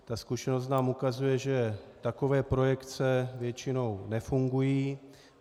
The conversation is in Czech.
Tak zkušenost nám ukazuje, že takové projekce většinou nefungují.